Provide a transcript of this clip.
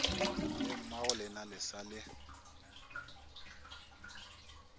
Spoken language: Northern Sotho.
le mmagolena le sa le